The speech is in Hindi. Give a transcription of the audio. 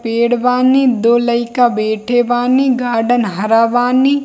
पेड़ बानी दो लइका बैठे बानी गार्डन हरा बानी।